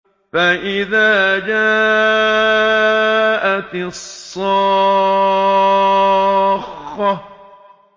فَإِذَا جَاءَتِ الصَّاخَّةُ